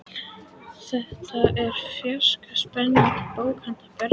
Þetta er fjarska spennandi bók handa börnum.